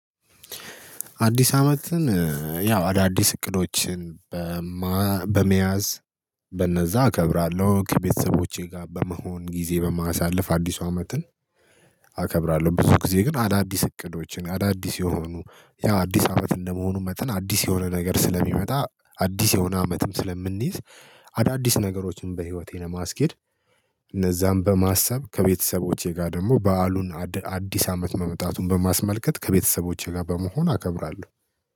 አዲስ አመትን ያው አዳዲስ እቅዶችን በመያዝ በነዛ አከብራለሁ ከቤተሰቦቼ ጋር በመሆን ጊዜ በማሳለፍ አዲሱ አመትን አከብራለሁ። ብዙ ጊዜ ግን አዳዲስ እቅዶችን አዳዲስ የሆኑ ያው አዲስ አመት እንደመሆኑ መጠን አዲስ የሆነ ነገር ስለሚመጣ አዲስ የሆነ አመትም ስለምንይዝ አዳዲስ ነገሮችን በህይወቴ ለማስኬድ እነዛን በማሰብ ከቤተሰቦቼ ጋር ደግሞ በዓሉን አዲስ አመት መመጣቱን በማስመልከት ከቤተሰቦቼ ጋር በመሆን አከብራለሁ